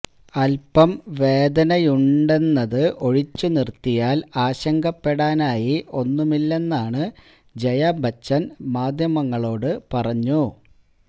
അല്പം വേദനയുണ്ടെന്നത് ഒഴിച്ച് നിര്ത്തിയാല് ആശങ്കപ്പെടാനായി ഒന്നുമില്ലെന്നാണ് ജയാബച്ചന് മാധ്യമങ്ങളോട് പറഞ്ഞു